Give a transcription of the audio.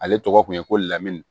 Ale tɔgɔ kun ye ko lamini